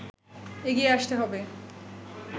এগিয়ে আসতে হবে”